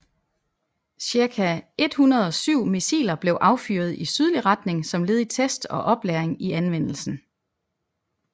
Cirka 107 missiler blev affyret i sydlig retning som led i test og oplæring i anvendelsen